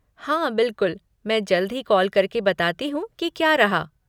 हाँ, बिलकुल, मैं जल्द ही कॉल करके बताती हूँ कि क्या रहा।